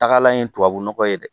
Tagalan ye tubabu nɔgɔ ye dɛ